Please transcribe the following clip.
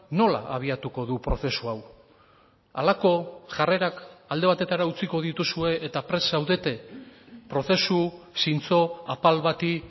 nola abiatuko du prozesu hau halako jarrerak alde batetara utziko dituzue eta prest zaudete prozesu zintzo apal bati